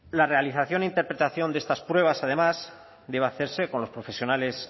la realización e interpretación de estas pruebas además debe hacerse con los profesionales